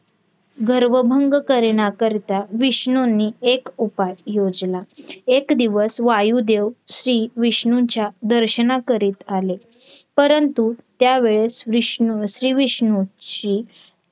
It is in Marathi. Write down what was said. गर्व भंग करण्याकरिता विष्णूंनी एक उपाय योजला. एक दिवस वायूदेव श्री विष्णूंच्या दर्शनाकरीत आले परंतु त्यावेळेस विष्णूं श्री विष्णूंची